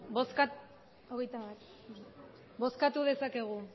bozkatu dezakegu